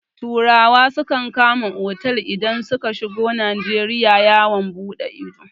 Turawa sukan kama otal idan suka shigo Najeriya yawon buɗe ido.